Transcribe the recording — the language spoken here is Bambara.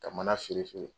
Ka mana feere feere